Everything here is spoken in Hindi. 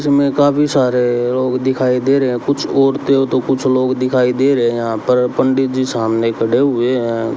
इसमें काफी सारे लोग दिखाई दे रहे हैं कुछ औरतें तो कुछ लोग दिखाई दे रहे हैं यहां पर पंडित जी सामने खड़े हुए हैं।